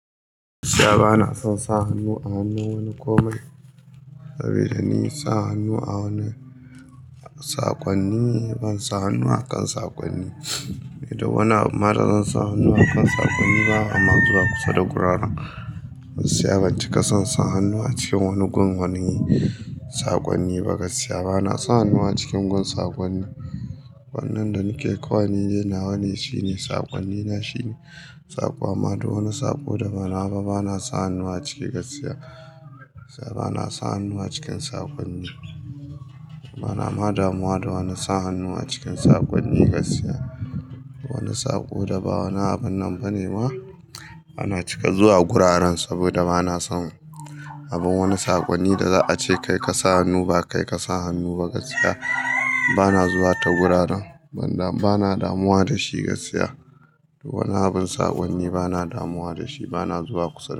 Gaskiya ba na son sa hannu a hannun wani komai, saboda ni sa hannu a wani saƙonni ban sa hannu a kan saƙonni. Idan ma wani abu ma da zan sa hannu a kan saƙonni ba, ma zuwa kusa da guraren gaskiya ban ci ka son sa hannu a cikin wani gun wanin saƙonni ba gaskiya. Ba na sa hannu a cikin gun saƙonni. Wannan da nike kawai ni dai nawa ne shine saƙonni na shine saƙo. Amma da wani saƙo da ba nawa ba bana sa hannu a ciki gaskiya. Gaskiya bana sa hannu a cikin saƙonni. Bana ma damuwa da wani sa hannu a cikin saƙonni gaskiya. Wani saƙo da ba wani abun nan bane ba, bana cika zuwa guraren saboda bana son abun wani saƙonni da za a ce kai ka sa hannu ba kai ka sa hannu ba gaskiya. Bana zuwa ta guraren ban da bana damuwa da shi gaskiya. Wani abun saƙonni bana damuwa da shi bana zuwa kusa.